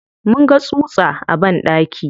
Mun ga tsutsa a banɗaki.